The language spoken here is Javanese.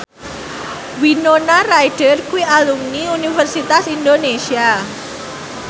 Winona Ryder kuwi alumni Universitas Indonesia